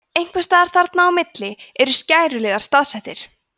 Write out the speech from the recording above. einhvers staðar þarna á milli eru skæruliðar staðsettir